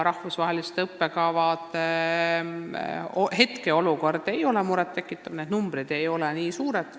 Rahvusvaheliste õppekavade hetkeolukord ei ole murettekitav – need numbrid ei ole nii suured.